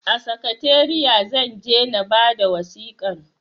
A sakatariya zan je na bada wasikan